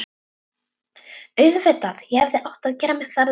Auðvitað, ég hefði átt að gera mér það ljóst strax.